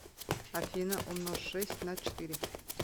афина умножь шесть на четыре